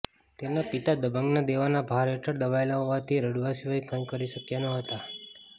તેના પિતા દબંગનાં દેવાનાં ભાર હેઠળ દબાયેલાં હોવાથી રડવા સિવાય કંઈ કરી શક્યા નહોતા